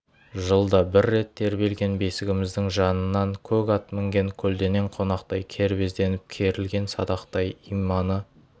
жылда бір рет тербелген бесігіміздің жанынан көк ат мінген көлденең қонақтай кербезденіп керілген садақтай иманы